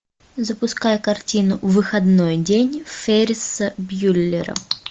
запускай картину выходной день ферриса бьюллера